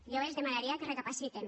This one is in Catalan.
jo els demanaria que recapacitessen